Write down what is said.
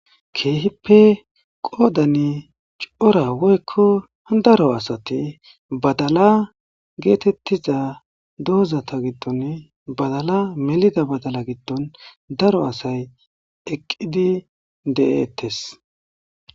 Keehippe qoodani cora woykko daro asati badala geetettiza doozata giddoni badala melida badala giddon daro asay eqqidi de7eettes.